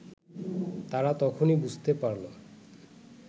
তারা তখনই বুঝতে পারল